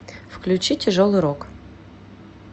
включи тяжелый рок